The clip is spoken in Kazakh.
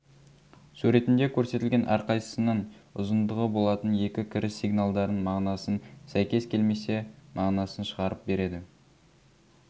суретінде көрсетілген әр қайсысының ұзындығы болатын екі кіріс сигналдарын мағынасын сәйкес келмесе мағынасын шығарып береді